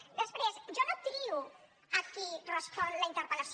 després jo no trio qui respon la interpel·lació